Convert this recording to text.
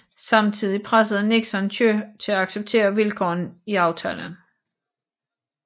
Samtidig pressede Nixon Thieu til at acceptere vilkårene i aftalen